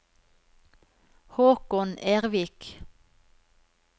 Håkon Ervik